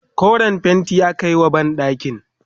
koren fainti akayi wa banɗakinku